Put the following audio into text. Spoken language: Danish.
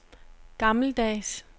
gammeldags